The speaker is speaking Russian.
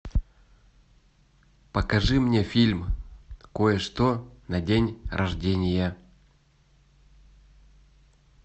покажи мне фильм кое что на день рождения